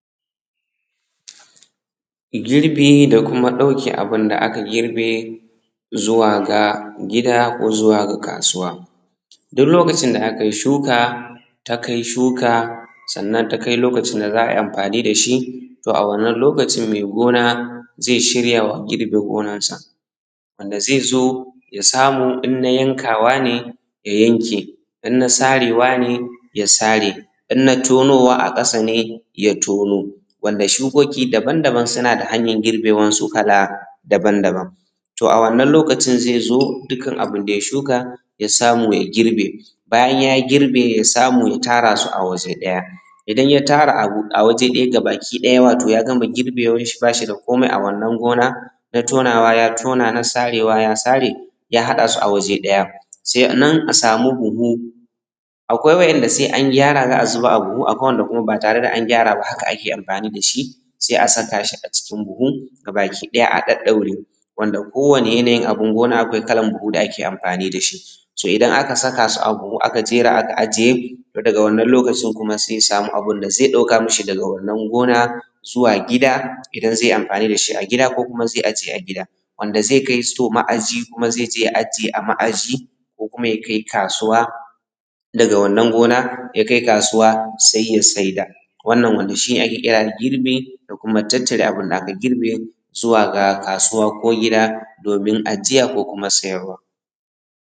girbe da kuma ɗauke abun da aka: girbe zuwa gida ko zuwa ga kasuwa duk lokacin da aka yi shuka ta kai shuka sannan ta kai lokacin da za`a yi amfani da shi to a wannan lokacin mai gona zai shirya wa.,. girbe gonansa wannan da zai zo ya samu inna yankawa ne ya yanke inna sarewa ne ya sare inna tonawa a ƙasa ne ya tono wanda shukoki daban daban suna da hanyan girbe wansu kala daban daban to a wannan lokacin mutum zai zo da dukan abun da ya shuka ya samu ya girbe bayan ya girbe ya samu ya tara su a waje ɗaya idan ya tara a waje ɗaya gabaki ɗaya watau ya gama girbe wanshi bashi da komi a wannan gona na tonawa ya tona na sarewa ya sare ya haɗa su a waje ɗaya sai nan a sami buhu akwai wa`yanda sai an gyara za`a zuba a buhu akwai wa`yanda kuma ba tare da an gyara ba haka ake amfani da shi sai a saka shi a cikin buhu gabaki ɗaya a ɗau ɗaure wanda ko wani yanayin abun gona akwai kalan buhun da ake amfani da shi so idan aka saka su a buhu aka jera su aka ajiye daga wannan lokaci kuma sai ya samu abun da zai ɗauka mai daga wannan gona zuwa gi:da idan zai amfani da shi a gida ko kuma zai aje a gida wanda zai kai “store” ma`aji zai ye ya ajiye a ma`ajiya ko kuma zai kai kasuwa daga wannan gona ya kai kasuwa sai ya saida wannan wanda shi ne ake kira girbi da kuma tattara abun da aka girbe domin kaiwa gida ko kasuwa domin ajiya ko sayarwa